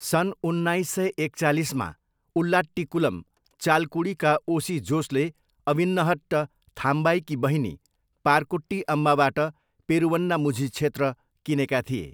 सन् उन्नाइस सय एकचालिसमा, उल्लाट्टिकुलम, चालकुडीका ओसी जोसले अविन्हट्ट थाम्बाईकी बहिनी पारकुट्टी अम्माबाट पेरुवन्नामुझी क्षेत्र किनेका थिए।